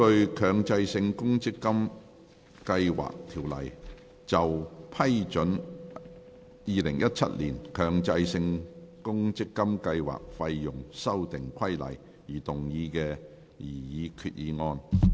根據《強制性公積金計劃條例》就批准《2017年強制性公積金計劃規例》而動議的擬議決議案。